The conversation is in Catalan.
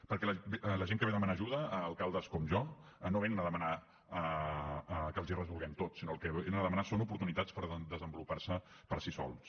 perquè la gent que ve a demanar ajuda a alcaldes com jo no vénen a demanar que els ho resolguem tot sinó que el que vénen a demanar són oportunitats per desenvolupar se per si sols